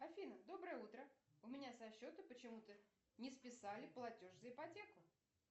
афина доброе утро у меня со счета почему то не списали платеж за ипотеку